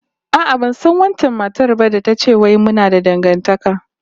A'a, ban san wancan matar ba da ta ce wai muna da dangantaka